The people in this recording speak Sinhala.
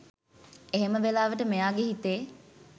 එහෙම වෙලාවට මෙයාගේ හිතේ